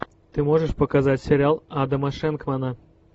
ты можешь показать сериал адама шенкмана